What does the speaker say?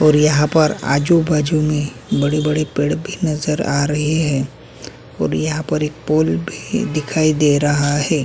और यहाँ पर आजू-बाजू में बड़े-बड़े पेड़ भी नज़र आ रहें हैं और यहाँ पर एक पूल भी दिखाई दे रहा है।